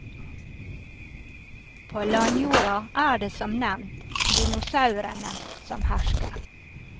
På landjorda er det som nevnt dinosaurene som hersker.